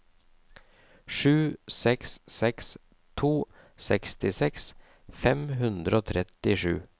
sju seks seks to sekstiseks fem hundre og trettisju